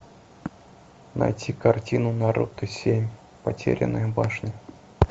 найти картину наруто семь потерянная башня